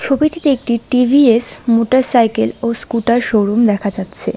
ছবিটিতে একটি টি_ভি_এস মোটরসাইকেল ও স্কুটার শোরুম দেখা যাচ্ছে।